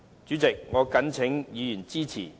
主席，我謹請議員支持議案。